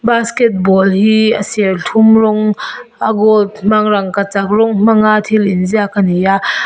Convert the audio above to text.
basketball ball hi a serthlum rawng a gold hmang rangkachak rawng hmang a thil in ziak ani a.